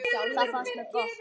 Það fannst mér gott.